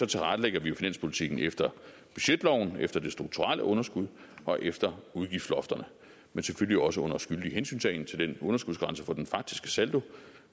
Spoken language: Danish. tilrettelægger vi jo finanspolitikken efter budgetloven efter det strukturelle underskud og efter udgiftlofterne men selvfølgelig også under skyldig hensyntagen til den underskudsgrænse på den faktiske saldo